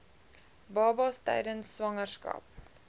babas tydens swangerskap